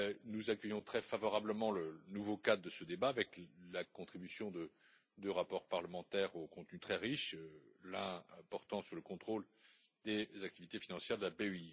Nous accueillons très favorablement le nouveau cadre de ce débat, avec la contribution de deux rapports parlementaires au contenu très riche, dont l'un porte sur le contrôle des activités financières de la BEI.